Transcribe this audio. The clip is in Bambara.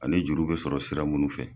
Ani juru bɛ sɔrɔ sira minnu fɛ.